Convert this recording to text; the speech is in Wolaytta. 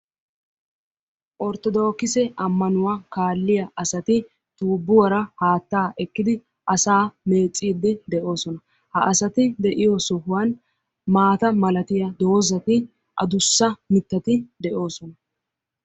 Orttoodokise ammanuwaa kaalliyaa asati tuubbuwaara haattaa ekkidi asaa meecciidi de'oosona. ha asati de'iyoo sohuwaan maata malatiyaa doozzati adussa mittati de'oosona.